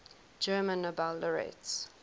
german nobel laureates